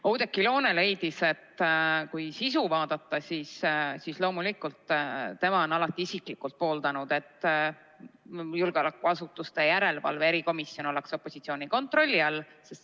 Oudekki Loone leidis, et mis sisusse puutub, siis loomulikult tema on alati isiklikult pooldanud, et julgeolekuasutuste järelevalve erikomisjon oleks opositsiooni kontrolli all.